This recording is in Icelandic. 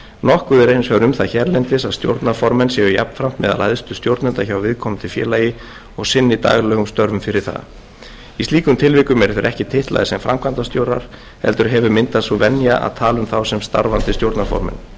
nokkuð er hins vegar um það hérlendis að stjórnarformenn séu jafnframt meðal æðstu stjórnenda hjá viðkomandi félagi og sinni daglegum störfum fyrir það í slíkum tilvikum eru þeir ekki titlaðir sem framkvæmdastjórar heldur hefur myndast sú venja að tala um þá sem starfandi stjórnarformenn